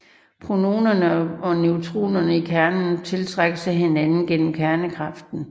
Protonerne og neutronerne i kernen tiltrækkes af hinanden gennem kernekraften